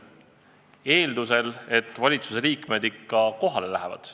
Aga eeldus on, et valitsusliikmed ikka kohale lähevad.